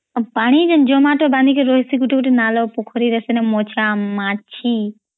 ପାଣି ଯେ ଜମାଟ ବାନ୍ଧିକୀ ରହିଥାଏ ଗୋଟେ ଗୋଟେ ନାଲ ପୋଖୋରୀ ରେ ସେନ ମଛା ମାଛି